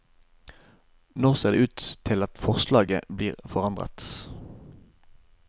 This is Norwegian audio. Nå ser det ut til at forslaget blir forandret.